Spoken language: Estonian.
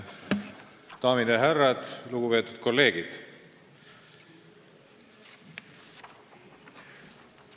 Daamid ja härrad, lugupeetud kolleegid!